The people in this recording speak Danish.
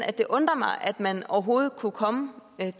at det undrer mig at man overhovedet kunne komme